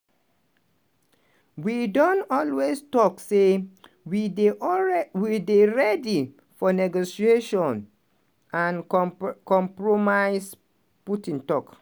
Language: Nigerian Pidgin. "we don always tok say we dey alrea we day ready for negotiation and compromise" putin tok.